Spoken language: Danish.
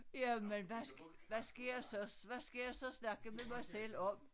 Jamen hvad hvad skal jeg så hvad skal jeg så snakke med mig selv om